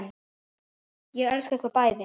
Ég elska ykkur bæði.